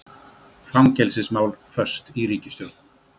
Fangelsismál föst í ríkisstjórn